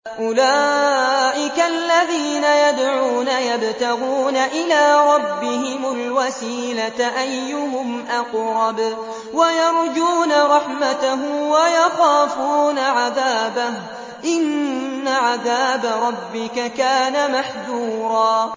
أُولَٰئِكَ الَّذِينَ يَدْعُونَ يَبْتَغُونَ إِلَىٰ رَبِّهِمُ الْوَسِيلَةَ أَيُّهُمْ أَقْرَبُ وَيَرْجُونَ رَحْمَتَهُ وَيَخَافُونَ عَذَابَهُ ۚ إِنَّ عَذَابَ رَبِّكَ كَانَ مَحْذُورًا